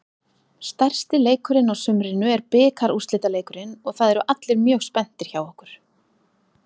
Stærsti leikurinn á sumrinu er bikarúrslitaleikurinn og það eru allir mjög spenntir hjá okkur.